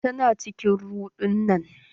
Tana cikin ruɗunan.